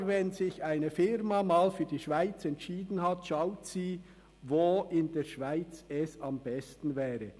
Aber wenn sich eine Firma mal für die Schweiz entschieden hat, schaut sie, wo in der Schweiz es am besten wäre.